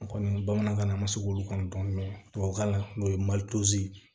N kɔni bamanankan na a ma se k'olu kan dɔn tubabukan na n'o ye malize